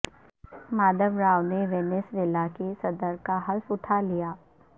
Maduro نے Venezuela کے صدر کا حلف اٹھا لیا